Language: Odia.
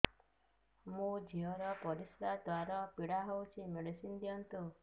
ମୋ ଝିଅ ର ପରିସ୍ରା ଦ୍ଵାର ପୀଡା ହଉଚି ମେଡିସିନ ଦିଅନ୍ତୁ